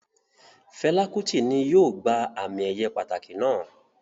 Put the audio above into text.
Fẹla Kuti ni yóò gba ami-eye pataki naa